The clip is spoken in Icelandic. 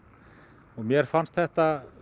og mér fannst þetta